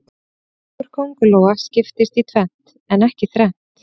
Búkur kóngulóa skiptist í tvennt en ekki þrennt.